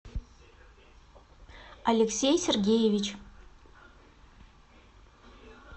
алексей сергеевич